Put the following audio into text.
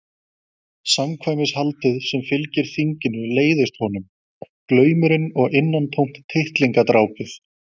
Samkvæmishaldið sem fylgir þinginu leiðist honum, glaumurinn og innantómt tittlingadrápið.